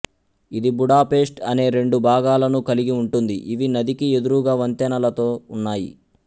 ఇది Budapest అనే రెండు భాగాలను కలిగి ఉంటుంది ఇవి నదికి ఎదురుగా వంతెనలతో ఉన్నాయి